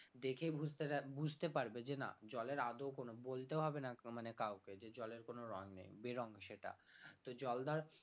দেখে বুঝতে বুঝতে পারবে যে না জলের আদেও কোন বলতেও হবে না মানে কাউকে যে জলের কোন রং নেই বেরং সেটা তো জল ধর